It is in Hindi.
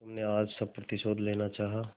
तुमने आज सब प्रतिशोध लेना चाहा